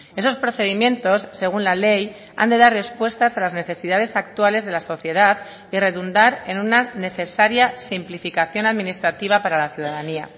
esos procedimientos según la ley han de dar respuestas a las necesidades actuales de la sociedad y redundar en una necesaria simplificación administrativa para la ciudadanía